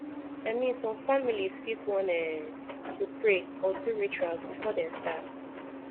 i min som familiz fit wan um to pray or do rituals before dem start